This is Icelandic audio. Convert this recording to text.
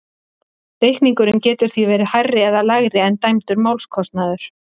Reikningurinn getur því verið hærri eða lægri en dæmdur málskostnaður.